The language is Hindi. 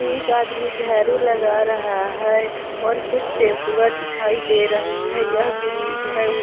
एक आदमी झाड़ू लगा रहा है और कुछ टेम्पुआं दिखाई दे रही है यह ब्रीज है